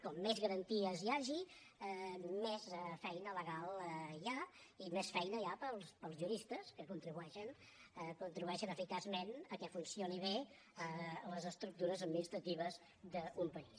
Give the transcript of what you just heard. com més garanties hi hagi més feina legal hi ha i més feina hi ha per als juristes que contribueixen eficaçment que funcionin bé les estructures administratives d’un país